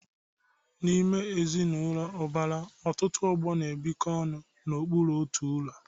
N'ime ezinụlọ ụbara, ọtụtụ ọgbọ na-ebikọ ọnụ n'okpuru otu ụlọ.